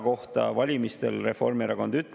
Jõuõlg oli teiste parlamendierakondade poolel.